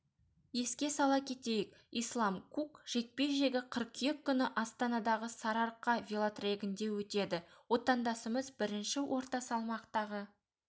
еске сала кетейік ислам кук жекпе-жегі қыркүйек күні астанадағы сарыарқа велотрегінде өтеді отандасымыз бірінші орта салмақтағы